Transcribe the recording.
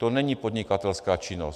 To není podnikatelská činnost.